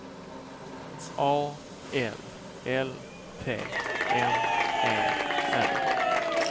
A L L T M E R